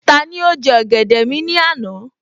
Tani ó jẹ́ ọ̀gẹ̀dẹ̀ mi ní àná?